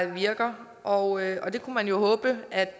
virker og og det kunne man jo håbe